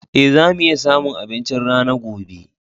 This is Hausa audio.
Ee, za mu iya samun abinci rana gobe.